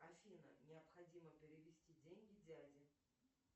афина необходимо перевести деньги дяде